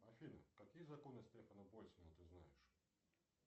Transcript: афина какие законы стефана больцмана ты знаешь